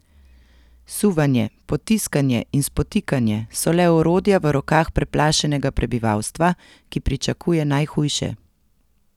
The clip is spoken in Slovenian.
Suvanje, potiskanje in spotikanje so le orodja v rokah preplašenega prebivalstva, ki pričakuje najhujše.